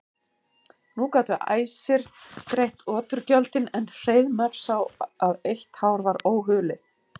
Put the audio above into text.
Nú gátu æsir greitt oturgjöldin en Hreiðmar sá að eitt hár var óhulið.